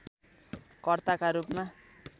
कर्ता का रूपमा